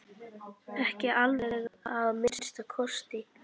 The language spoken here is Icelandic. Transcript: Ekki alveg að minnsta kosti!